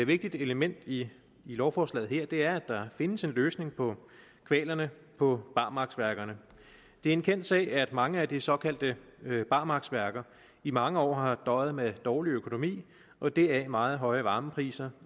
vigtigt element i lovforslaget her er der findes en løsning på kvalerne på barmarksværkerne det er en kendt sag at mange af de såkaldte barmarksværker i mange år har døjet med dårlig økonomi og deraf meget høje varmepriser